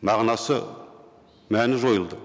мағынасы мәні жойылды